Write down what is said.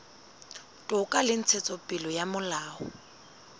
toka le ntshetsopele ya molao